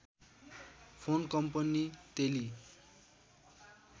phone company तेलि